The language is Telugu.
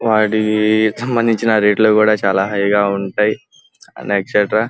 వాటికి సంభందించిన రేట్ లు కూడా చాలా హై గా ఉంటాయి అండ్ ఎక్సెట్రా .